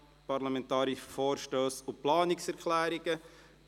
Parlamentarische Vorstösse und Planungserklärungen 2018.